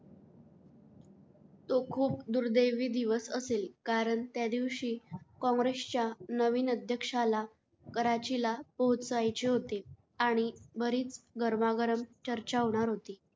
तो खूप दुर्दैवी दिवस असेल कारण त्या दिवशी काँग्रेसच्या नवीन अध्यक्षाला कराचीला पोहोचायचे होते आणि बरीच गरमागरम चर्चा होणार होती.